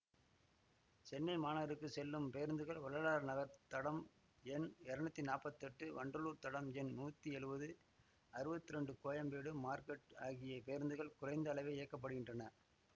சென்னை மாநகருக்கு செல்லும் பேருந்துகள் வள்ளலார் நகர் தடம் எண் இரநூத்தி நாப்பத்தி எட்டு வண்டலூர் தடம் எண் நூத்தி எழுவது அறுவத்தி இரண்டு கோயம்பேடு மார்க்கெட் ஆகிய பேருந்துகள் குறைந்த அளவே இயக்க படுகின்றன